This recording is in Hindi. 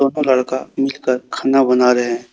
दोनों लड़का मिल कर खाना बना रहे हैं।